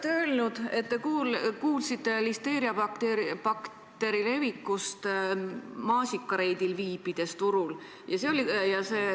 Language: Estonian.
Te olete öelnud, et te kuulsite listeeriabakteri levikust, viibides turul maasikareidil.